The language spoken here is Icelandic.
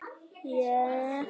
Hér má sjá myndband af atvikinu